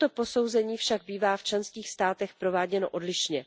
Toto posouzení však bývá v členských státech prováděno odlišně.